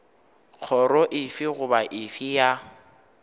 kgoro efe goba efe ya